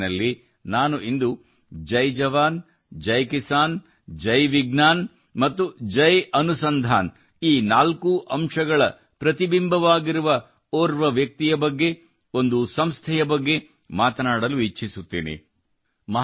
ಮನದ ಮಾತಿನಲ್ಲಿ ನಾನು ಇಂದು ಜೈ ಜವಾನ್ ಜೈ ಕಿಸಾನ್ ಜೈ ವಿಜ್ಞಾನ್ ಮತ್ತು ಜೈ ಅನಸಂಧಾನ್ ಈ ನಾಲ್ಕೂ ಅಂಶಗಳ ಪ್ರತಿಬಿಂಬವಾಗಿರುವಂತಹ ಓರ್ವ ವ್ಯಕ್ತಿಯ ಬಗ್ಗೆ ಒಂದು ಸಂಸ್ಥೆಯ ಬಗ್ಗೆ ಮಾತನಾಡಲು ಇಚ್ಛಿಸುತ್ತೇನೆ